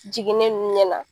Jiginnen nun ɲɛna.